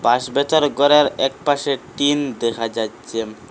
বাঁশবেতের ঘরের একপাশে টিন দেখা যাচ্ছে।